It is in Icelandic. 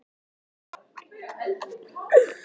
Myndirðu segja að þetta væri mjög óvenjuleg staða?